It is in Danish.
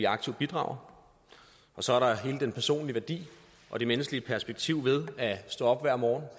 aktiv bidrager og så er der hele den personlige værdi og det menneskelige perspektiv ved at stå op hver morgen